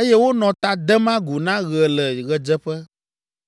eye wonɔ ta dem agu na ɣe le ɣedzeƒe.